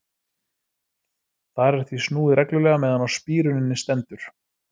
Þar er því snúið reglulega meðan á spíruninni stendur.